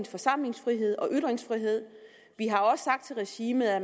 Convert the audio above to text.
forsamlingsfrihed og ytringsfrihed vi har også sagt til regimet at